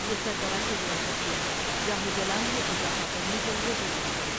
یہ سربراہِ ریاست کے جاہ و جلال میں اضافہ کرنے کے لیے ضروری ہے ۔